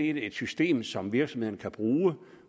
et system som virksomhederne kan bruge